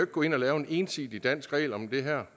gå ind og lave en ensidig dansk regel om det her